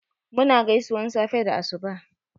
Mu na gaisuwan safe da asuba